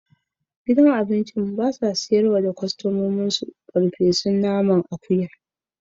Gidan cin abinci ba ya ba da geisha ga abokan cinikin su.